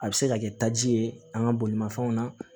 A bɛ se ka kɛ taji ye an ka bolimafɛnw na